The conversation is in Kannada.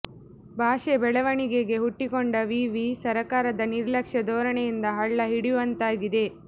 ಭಾಷೆ ಬೆಳವಣಿಗೆಗೆ ಹುಟ್ಟಿಕೊಂಡ ವಿವಿ ಸರಕಾರದ ನಿರ್ಲಕ್ಷ್ಯ ಧೋರಣೆಯಿಂದ ಹಳ್ಳ ಹಿಡಿಯುವಂತಾಗಿದೆ